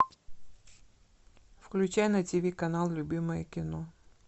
включай на тв канал любимое кино